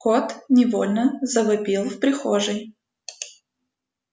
кот невольно завопил в прихожей